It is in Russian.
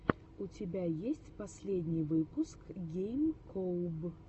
у тебя есть последний выпуск гейм коуб